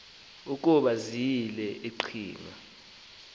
ukuba ziyile iqhinga